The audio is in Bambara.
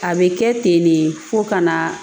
A bɛ kɛ ten de fo ka na